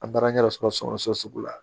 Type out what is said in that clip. A taara ɲɛ yɛrɛ sɔrɔ so sugu la